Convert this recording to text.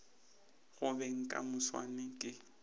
go beng ka moswane ke